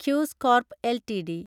quiz corp LTD